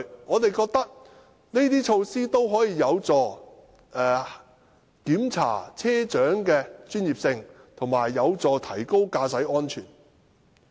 我們覺得這些措施有助查核車長的專業性，亦有助提高駕駛安全。